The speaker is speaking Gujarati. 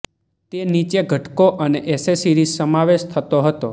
તે નીચે ઘટકો અને એક્સેસરીઝ સમાવેશ થતો હતોઃ